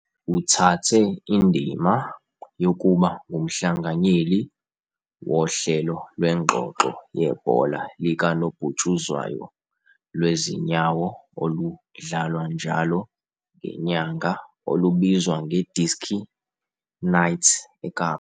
Uthathe indima yokuba ngumhlanganyeli wohlelo lwengxoxo yebhola likanobhutshuzwayo - lwezinyawo oludlalwa njalo ngenyanga olubizwa ngeDiski Nites eKapa.